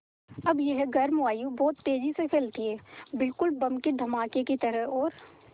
अब यह गर्म वायु बहुत तेज़ी से फैलती है बिल्कुल बम के धमाके की तरह और